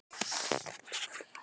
Hann meinar allt sitt mál.